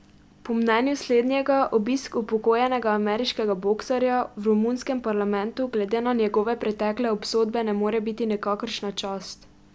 Po mnenju slednjega obisk upokojenega ameriškega boksarja v romunskem parlamentu glede na njegove pretekle obsodbe ne more biti nikakršna čast.